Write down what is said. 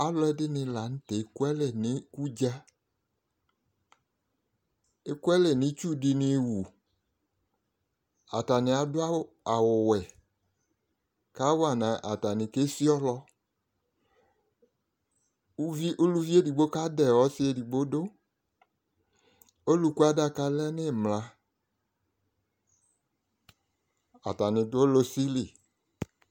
alò ɛdini lantɛ eku alɛ n'ikudza eku alɛ n'itsu di ni wu atani adu awu wɛ ka wa no atani kesi ɔlɔ uvi uluvi edigbo kadɛ ɔsi edigbo do oluku adaka lɛ n'imla atani do ɔlɔ si li